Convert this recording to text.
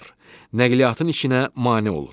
Nəqliyyatın işinə mane olur.